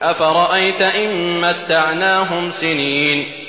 أَفَرَأَيْتَ إِن مَّتَّعْنَاهُمْ سِنِينَ